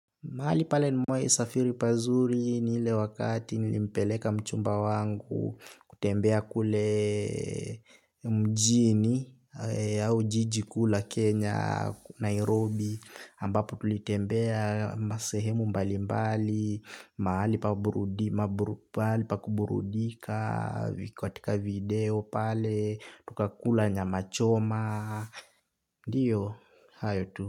Mahali pale nimewai safiri pazuri ni ile wakati nilimpeleka mchumba wangu kutembea kule mjini au jiji kuu la Kenya, Nairobi ambapo tulitembea masehemu mbali mbali, mahali pa kuburudika, katika video pale, tukakula nyama choma, ndiyo, hayo tu.